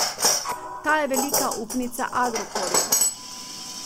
Ta je velika upnica Agrokorja.